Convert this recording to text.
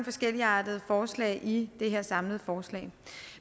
forskelligartede forslag i det her samlede forslag